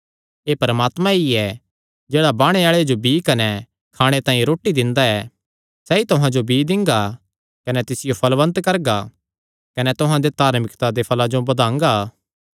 एह़ परमात्मा ई ऐ जेह्ड़ा बाणे आल़े जो बीई कने खाणे तांई रोटी दिंदा ऐ सैह़ तुहां जो बीई दिंगा कने तिसियो फल़वन्त करगा कने तुहां दे धार्मिकता दे फल़ां जो बधांगा